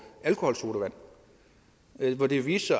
alkoholsodavand men hvor det viste